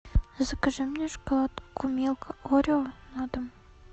закажи мне шоколадку милка орео на дом